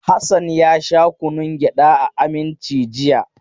Hassan ya sha kunnun gyada a Aminci jiya.